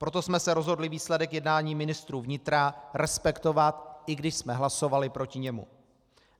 Proto jsme se rozhodli výsledek jednání ministrů vnitra respektovat, i když jsme hlasovali proti němu.